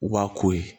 Wa ko ye